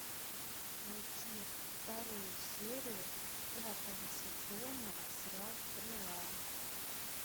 найти вторую серию пятого сезона сериал стрела